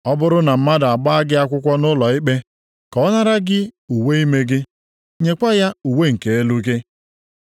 Ọ bụrụ na mmadụ agbaa gị akwụkwọ nʼụlọikpe, ka ọ nara gị uwe ime gị, nyekwa ya uwe nke elu gị.